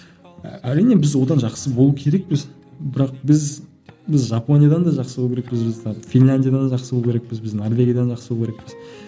әрине біз одан жақсы болу керекпіз бірақ біз біз жапониядан да жақсы болу керекпіз біз финляндиядан жақсы болу керекпіз біз біз норвегиядан жақсы болу керекпіз